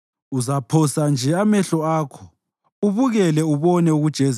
Uzaphosa nje amehlo akho ubukele ubone ukujeziswa kwababi.